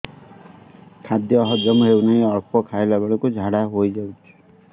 ଖାଦ୍ୟ ହଜମ ହେଉ ନାହିଁ ଅଳ୍ପ ଖାଇଲା ବେଳକୁ ଝାଡ଼ା ହୋଇଯାଉଛି